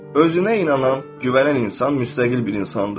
Özünə inanan, güvənən insan müstəqil bir insandır.